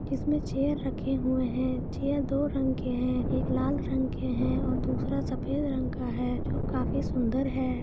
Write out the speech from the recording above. इसमें चेयर रखे हुए है चेयर दो रंग के है एक लाल रंग के है और दूसरा सफ़ेद रंग का है जो काफी सुंदर है।